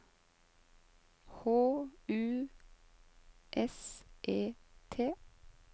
H U S E T